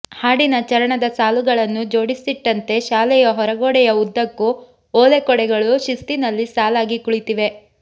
ಹಾಡಿನ ಚರಣದ ಸಾಲುಗಳನ್ನು ಜೋಡಿಸಿಟ್ಟಂತೆ ಶಾಲೆಯ ಹೊರಗೋಡೆಯ ಉದ್ದಕ್ಕೂ ಓಲೆಕೊಡೆಗಳು ಶಿಸ್ತಿನಲ್ಲಿ ಸಾಲಾಗಿ ಕುಳಿತಿವೆ